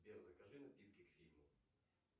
сбер закажи напитки к фильму